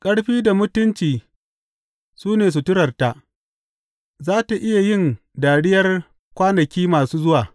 Ƙarfi da mutunci su ne suturarta; za tă iya yin dariyar kwanaki masu zuwa.